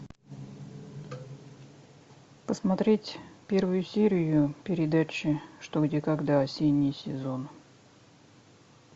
посмотреть первую серию передачи что где когда осенний сезон